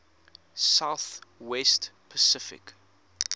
south west pacific